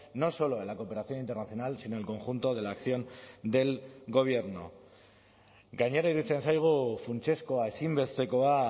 no solo en la cooperación internacional sino el conjunto de la acción del gobierno gainera iruditzen zaigu funtsezkoa ezinbestekoa